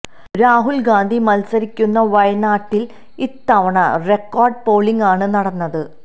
രാഹുല് ഗാന്ധി മത്സരിക്കുന്ന വയനാട്ടില് ഇത്തവണ റെക്കോര്ഡ് പോളിംഗ് ആണ് നടന്നത്